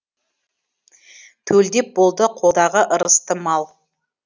төлдеп болды қолдағы ырысты мал